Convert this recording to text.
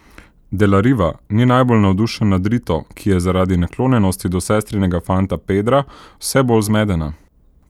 De la Riva ni najbolj navdušen nad Rito, ki je zaradi naklonjenosti do sestrinega fanta Pedra vse bolj zmedena.